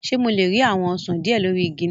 Ṣe Mo le ri awọn osan diẹ lori igi loni?